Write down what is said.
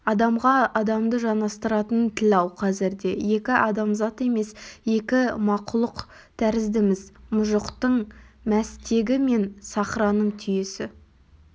адамға адамды жанастыратын тіл-ау қазірде екі адамзат емес екі мақлұқ тәріздіміз мұжықтың мәстегі мен сахраның түйесі